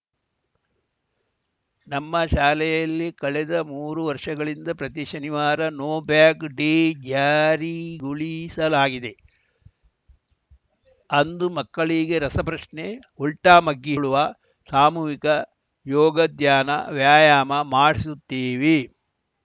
ನಮ್ಮ ಶಾಲೆಯಲ್ಲಿ ಕಳೆದ ಮೂರು ವರ್ಷಗಳಿಂದ ಪ್ರತಿ ಶನಿವಾರ ನೋ ಬ್ಯಾಗ್‌ ಡೇ ಜಾರಿಗೊಳಿಸಲಾಗಿದೆ ಅಂದು ಮಕ್ಕಳಿಗೆ ರಸಪ್ರಶ್ನೆ ಉಲ್ಟಾಮಗ್ಗಿ ಹೇಳುವ ಸಾಮೂಹಿಕ ಯೋಗ ಧ್ಯಾನ ವ್ಯಾಯಾಮ ಮಾಡಿಸುತ್ತೇವೆ